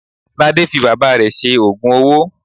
Lade fi bàbá rẹ̀ ṣe òògùn owó.